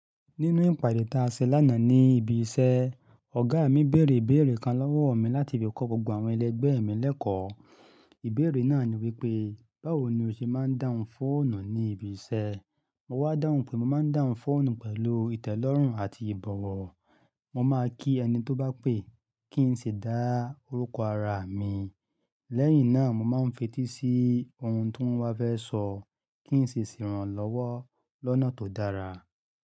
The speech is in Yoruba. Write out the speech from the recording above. Nínú ìpàdé ta ṣe lánàá ní ibi iṣẹ́, ọ̀gá mi bèèrè ìbéèrè kan lọ́wọ́ mi láti lè kọ́ gbogbo àwọn ẹlẹgbẹ́ mi lẹ́kọ̀ọ́. Ìbéèrè náà ni wípé, báwo ni o ṣe máa ń dáhùn fóònù ní ibi iṣẹ́? Mo wá dáhùn pé mo máa ń dáhùn fóònù pẹ̀lú ìtẹ́lọ́rùn àti ìbọ̀wọ̀. Mo máa kí ẹni tó bá pè kí n sì dá orúkọ ara mi, lẹ́yìn náà mo máa ń fetí sí ohun tí wón bá fẹ́ sọ kí n sì sèràn lọ́wọ́ lọ́nà tó dára.